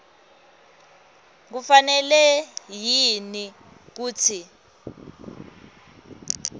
kufanele yini kutsi